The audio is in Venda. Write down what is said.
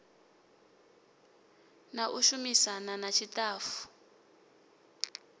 na u shumisana na ṱshitafu